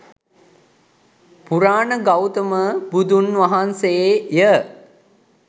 පුරාණ ගෞතම බුදුන් වහන්සේ ය